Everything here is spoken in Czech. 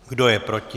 Kdo je proti?